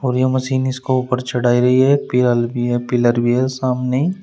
और यह मशीन इसको ऊपर चढ़ा गई है पिरल भी है पिलर भी है सामने।